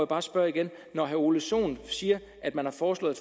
bare spørge igen når herre ole sohn siger at man har foreslået